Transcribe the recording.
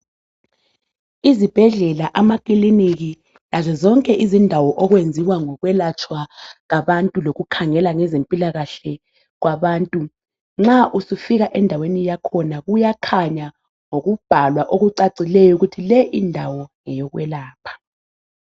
Izibhedlela amakiliniki lazo zonke izindawo okwenziwa ngokwelatshwa abantu lokukhangela ngezempilakahle kwabantu nxa usufika endaweni yakhona kuyakhanya ngokubhala okucacileyo ukuthi le indawo ngeyokwelapha